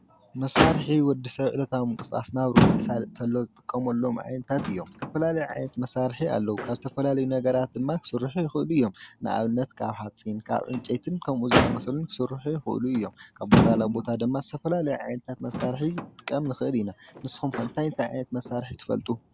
መሳርሒ ወድሰብ ዕለታዊ ምንቅስቃስ ናብርኡ ተሳልጥ ተሎ ዝጥቀመሎም ዓይነታት እዩም። ዝተፈላለዩ ዓይነት መሰርሒ ኣለው። ካብ ዝተፈላለዩ ነገራት ድማ ክስርሑ ይኽእሉ እዩም። ንኣብነት ካብ ሓፂን፣ ካብ ዕንጨይቲ ከምኡ ዝኣመሰሉን ክስርሑ ይኽእሉ እዮም። ካብ ቦታ ናብ ቦታ ድማ ዝተፈላለየ ዓይነታት መሰርሒ ክንጥቀም ንኽእል ኢና ንስኹም ከ እንታይ እንታይ ዓይነት መሰርሒ ትፈልጡ?